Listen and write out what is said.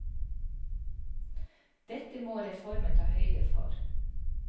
Dette må reformen ta høyde for.